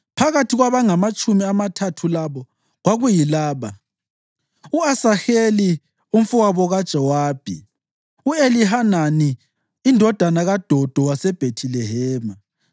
Phakathi kwabangamatshumi amathathu labo kwakuyilaba: U-Asaheli umfowabo kaJowabi, u-Elihanani indodana kaDodo waseBhethilehema,